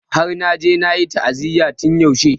Af! Har naje nayi ta'aziyya tun yaushe.